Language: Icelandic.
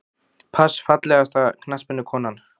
pass Fallegasta knattspyrnukonan?